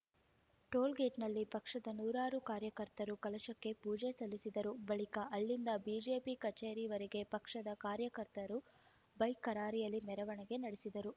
ಟೋಲ್‌ಗೇಟ್‌ನಲ್ಲಿ ಪಕ್ಷದ ನೂರಾರು ಕಾರ್ಯಕರ್ತರು ಕಲಶಕ್ಕೆ ಪೂಜೆ ಸಲ್ಲಿಸಿದರು ಬಳಿಕ ಅಲ್ಲಿಂದ ಬಿಜೆಪಿ ಕಚೇರಿವರೆಗೆ ಪಕ್ಷದ ಕಾರ್ಯಕರ್ತರು ಬೈಕ್‌ರಾರ‍ಯಲಿ ಮೆರವಣಿಗೆ ನಡೆಸಿದರು